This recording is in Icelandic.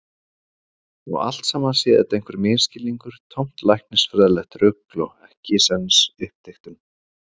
Og allt saman sé þetta einhver misskilningur, tómt læknisfræðilegt rugl og ekkisens uppdiktun.